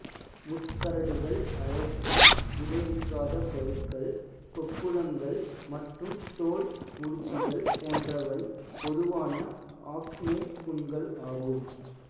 முட்கரடுகள் அழற்சி விளைவிக்காத பருக்கள் கொப்புளங்கள் மற்றும் தோல் முடிச்சுகள் போன்றவை பொதுவான ஆக்னே புண்கள் ஆகும்